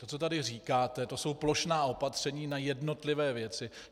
To, co tady říkáte, to jsou plošná opatření na jednotlivé věci.